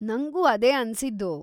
ನಂಗೂ ಅದೇ ಅನ್ಸಿದ್ದು.